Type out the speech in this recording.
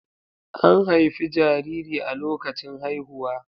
An haifi jariri a lokacin haihuwa.